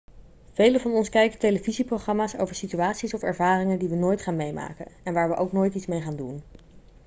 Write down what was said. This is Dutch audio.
velen van ons kijken televisieprogramma's over situaties of ervaringen die we nooit gaan meemaken en waar we ook nooit iets mee gaan doen